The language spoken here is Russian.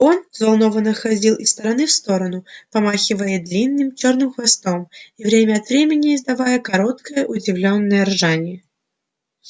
он взволнованно ходил из стороны в сторону помахивая длинным чёрным хвостом и время от времени издавая короткое удивлённое ржание